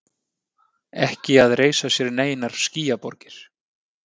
Ekki að reisa sér neinar skýjaborgir.